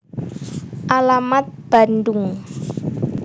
Alamat Bandung